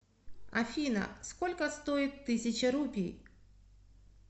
афина сколько стоит тысяча рупий